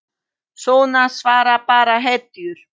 Svona svara bara hetjur.